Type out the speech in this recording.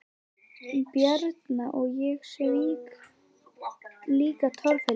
Bjarna og ég svík líka Torfhildi.